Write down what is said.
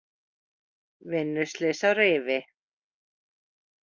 Vinnuslys á Rifi